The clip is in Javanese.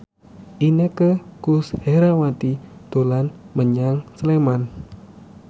Inneke Koesherawati dolan menyang Sleman